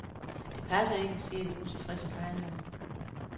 Det passer ikke, siger de utilfredse forhandlere.